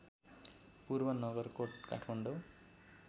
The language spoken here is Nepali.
पूर्व नगरकोट काठमाडौँ